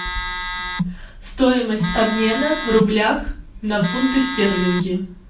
стоимость обмена в рублях на фунты стерлинги